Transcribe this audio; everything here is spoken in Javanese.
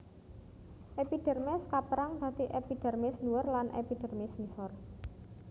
Epidermis kapérang dadi epidermis ndhuwur lan epidermis ngisor